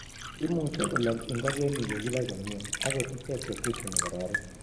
Imuchi kolog ngokenik ye kibai komie, agot icheck chechunu kororik